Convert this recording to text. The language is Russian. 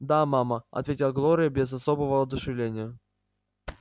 да мама ответила глория без особого воодушевления